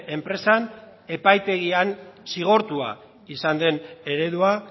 enpresan epaitegian zigortua izan den eredua